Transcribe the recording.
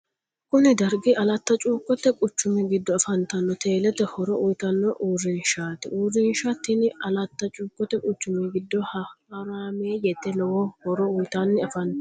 kuni dargi alatti cuukote quchumi giddo afantanno teelete horo uyitanno uurinshati. uurinsha tini alatti cuukote quchumi giddo horameeyete lowo horo uyitanni afantanno.